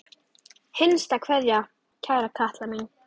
HINSTA KVEÐJA Kæra Kalla mín.